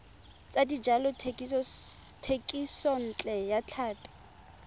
tsa dijalo thekisontle ya tlhapi